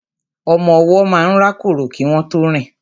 Ọmọ ọwọ́ máa ń rákórò kí wọn tó rìn